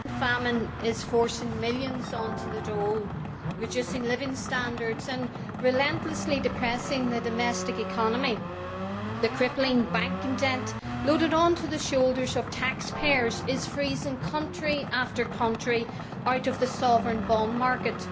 Mr President, the investment famine is forcing millions onto the dole, reducing living standards and relentlessly depressing the domestic economy. The crippling banking debt, loaded onto the shoulders of taxpayers, is freezing country after country out of the sovereign bond market.